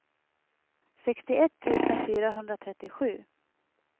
sextioett tusen fyrahundratrettiosju